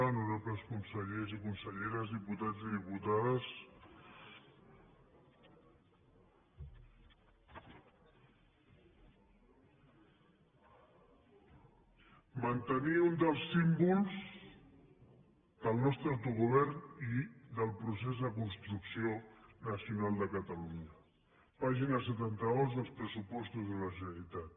honorables consellers i conselleres diputats i diputades mantenir un dels símbols del nostre autogovern i del procés de construcció nacional de catalunya pàgina setanta dos dels pressupostos de la generalitat